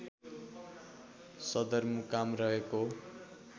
सदरमुकाम रहेको